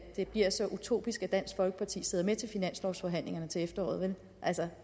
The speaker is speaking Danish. det bliver så utopisk at dansk folkeparti sidder med til finanslovsforhandlingerne til efteråret altså